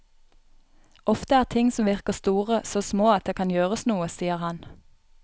Ofte er ting som virker store, så små at det kan gjøres noe, sier han.